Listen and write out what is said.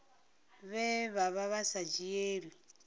vhe vha vha sa dzhielwi